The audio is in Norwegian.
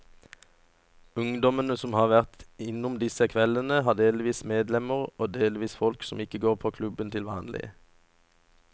Ungdommene som har vært innom disse kveldene, har vært delvis medlemmer og delvis folk som ikke går på klubben til vanlig.